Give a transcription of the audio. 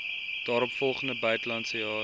daaropvolgende buitelandse jaar